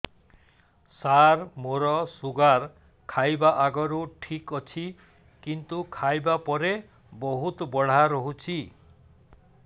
ସାର ମୋର ଶୁଗାର ଖାଇବା ଆଗରୁ ଠିକ ଅଛି କିନ୍ତୁ ଖାଇବା ପରେ ବହୁତ ବଢ଼ା ରହୁଛି